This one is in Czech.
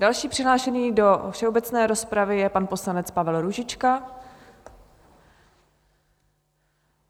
Další přihlášený do všeobecné rozpravy je pan poslanec Pavel Růžička.